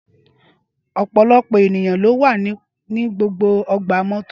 Ọpọlọpọ eniyan lo wa ni gbogbo ọgba-mọto.